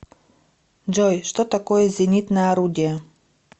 джой что такое зенитное орудие